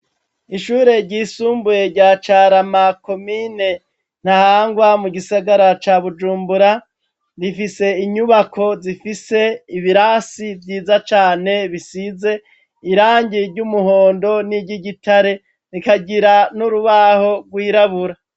Ishure ryisumbuye rya Carama , komine Ntahangwa mu gisagara ca Bujumbura, rifise inyubako zifise ibirasi vyiza cane bisize irangi ry'umuhondo niry'igitare, rikagira n'urubaho rw'irabura.